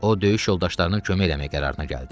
O döyüş yoldaşlarına kömək eləməyə qərarına gəldi.